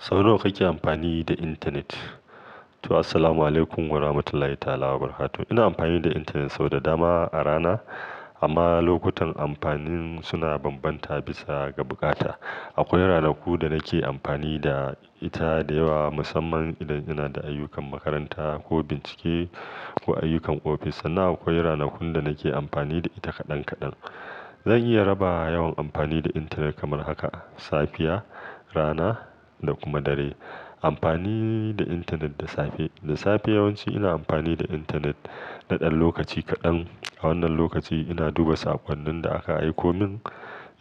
Sau nawa kake amfani da intanet? To, assalamu alaikum warahmatullahi ta'ala barakatuh. Ina amfani da intanet sau da dama a rana, amma lokutan amfanin suna bambanta bisa ga bukata. Akwai ranaku da nake amfani da ita da yawa, musamman idan ina da ayyukan makaranta ko bincike ko ayyukan ofis. Sannan akwai ranakun da nake amfani da ita kaɗan kaɗan. Zan iya raba yawan amfani da intanet kamar haka; safiya, rana da kuma dare. Amfani da intanet da safe, da safe yawanci ina amfani da intanet na ɗan lokaci kaɗan. A wannan lokaci ina duba saƙonnin da aka aiko min,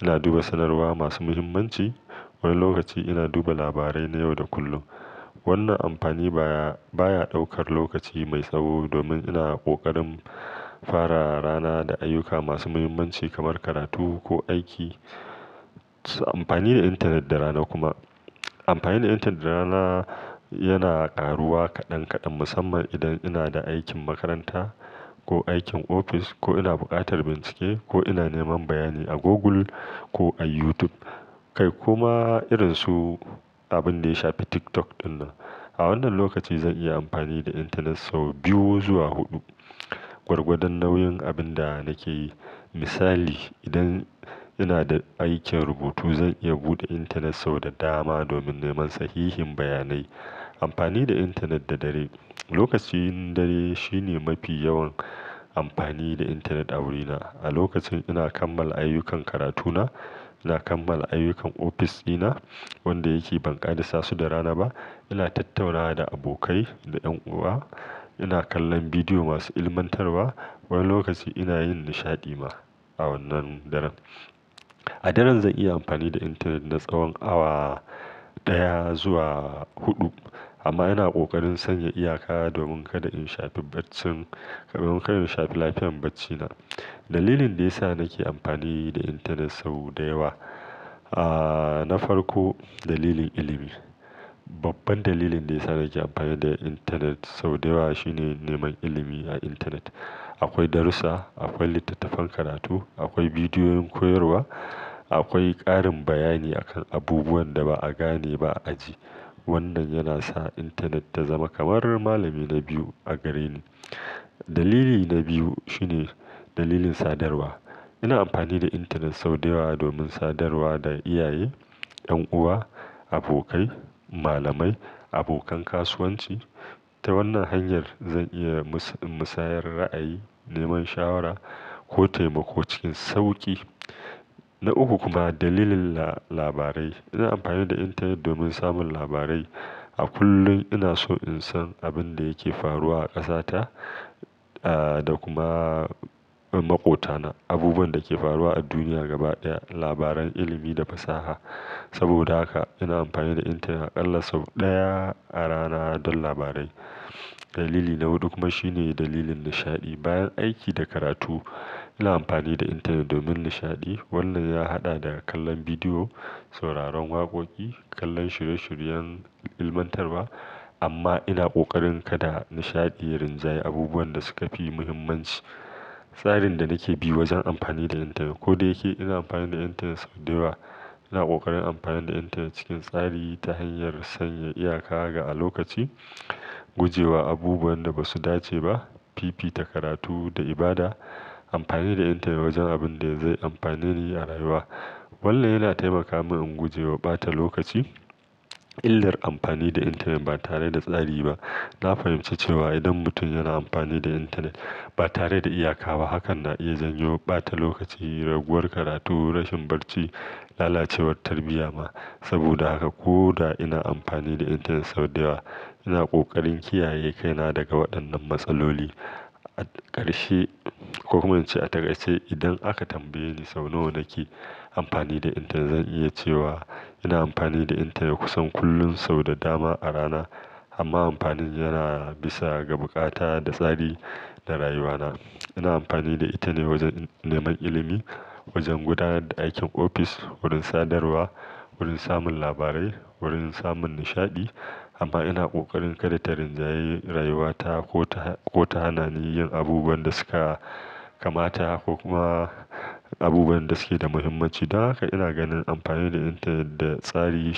ina duba sanarwa masu muhimmanci. Wani lokaci ina duba labarai na yau da kullum. Wannan amfani baya, baya ɗaukar lokaci mai tsawo domin ina ƙoƙarin fara rana da ayyuka masu muhimmanci kamar karatu ko aiki. Amfani da intanet da rana kuma, amfani da intanet da rana yana karuwa kaɗan kaɗan musamman idan ina da aikin makaranta ko aikin ofis ko ina buƙatar bincike ko ina neman bayani a Google ko a YouTube kai kuma irin su abin da ya shafi TikTok ɗin nan. A wannan lokaci zan iya amfani da intanet sau biyu zuwa huɗu, gwargwadon nauyin abin da nake yi. Misali, idan ina da aikin rubutu zan iya buɗe intanet sau da dama domin neman sahihin bayanai. Amfani da intanet da dare, lokacin dare shine mafi yawan amfani da intanet a wurina. A lokacin ina kammala ayyukan karatuna, ina kammala ayyukan ofis ɗina wanda yake bankaɗe sasu da rana ba. Ina tattaunawa da abokai da ƴan uwa, ina kallon bidiyo masu ilmantarwa. Wani lokaci ina yin nishaɗi ma a wannan daren. A daren zan iya amfani da intanet na tsawon awa ɗaya zuwa huɗu, amma ina ƙoƙarin sanya iyaka domin kada in shafe barcin, domin kada in shafi lafiyan barcina. Dalilin da ya sa nake amfani da intanet sau da yawa, ah na farko dalilin ilimi. Babban dalilin da ya sa nake amfani da intanet sau da yawa shine neman ilimi a intanet. Akwai darussa, akwai littattafan karatu, akwai bidiyoyin koyarwa, akwai ƙarin bayani akan abubuwan da ba a gane ba a aji. Wannan yana sa intanet ta zama kamar malami na biyu a gare ni. Dalili na biyu shine dalilin sadarwa. Ina amfani da intanet sau da yawa domin sadarwa da iyaye, ƴan uwa, abokai, malamai, abokan kasuwanci. Ta wannan hanyar zan iya musayar ra'ayi, neman shawara ko taimako cikin sauƙi. Na uku kuma dalilin la-labarai. Ina amfani da intanet domin samun labarai. A kullum ina so in san abin da yake faruwa a ƙasata da kuma maƙotana, abubuwan da ke faruwa a duniya gaba ɗaya, labaran ilimi da fasaha. Saboda haka ina amfani da intanet aƙalla sau ɗaya a rana don labarai. Dalili na huɗu kuma shine dalilin nishaɗi. Bayan aiki da karatu ina amfani da intanet domin nishaɗi. Wannan ya haɗa da kallon bidiyo, sauraron waƙoƙi, kallon shirye-shiryen ilmantarwa. Amma ina ƙoƙarin kada nishaɗi ya rinjayi abubuwan da suka fi muhimmanci. Tsarin da nake bi wajen amfani da intanet, ko da yake ina amfani da intanet sau da yawa, ina ƙoƙarin amfani da intanet cikin tsari ta hanyar sanya iyaka ga a lokaci, gujewa abubuwan da ba su dace ba, fifita karatu da ibada, amfani da intanet wajen abin da zai amfanar ni a rayuwa. Wannan yana taimaka min in gujewa ɓata lokaci. Illar amfani da intanet ba tare da tsari ba. Na fahimci cewa idan mutum yana amfani da intanet ba tare da iyaka ba hakan na iya jan yawan ɓata lokaci, raguwar karatu, rashin barci, lalacewar tarbiyya ma. Saboda haka ko da ina amfani da intanet sau da yawa ina ƙoƙarin kiyaye kaina daga waɗannan matsaloli. A ƙarshe, ko kuma ce a ta ƙarshe, idan aka tambaye ni sau nawa nake amfani da intanet zan iya cewa ina amfani da intanet kusan kullum sau da dama a rana. Amma amfanin yana bisa ga bukata da tsari da rayuwana. Ina amfani da ita ne wajen neman ilimi, wajen gudanar da aikin ofis, wurin sadarwa, wurin samun labarai, wurin samun nishaɗi. Amma ina ƙoƙarin kada ta rinjayi rayuwata ko ta, ko ta hana ni yin abubuwan da suka kamata ko kuma abubuwan da suke da muhimmanci. Dan haka ina ganin amfani da intanet da tsari.